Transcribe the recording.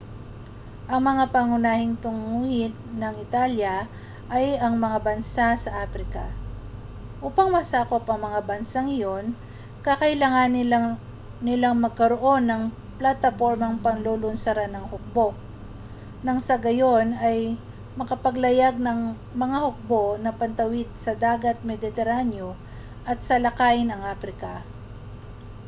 ang mga pangunahing tunguhin ng italya ay ang mga bansa sa aprika upang masakop ang mga bansang iyon kakailanganin nilang magkaroon ng platapormang paglulunsaran ng hukbo nang sa gayon ay makapaglayag ang mga hukbo na patawid sa dagat mediteraneo at salakayin ang aprika